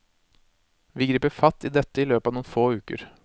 Vi griper fatt i dette i løpet av noen få uker.